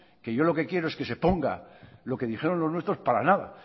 que yo lo que quiero es que se ponga lo que dijeron los nuestros para nada